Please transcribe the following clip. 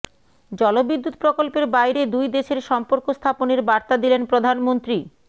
জলবিদ্যুৎ প্রকল্পের বাইরে দুই দেশের সম্পর্ক স্থাপনের বার্তা দিলেন প্রধানমন্ত্রী